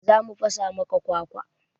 Za mu fasa maka kwakwa.